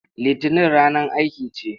Litinin ranar aiki ce.